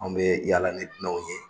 Anw bɛ yaala ni n'aw ye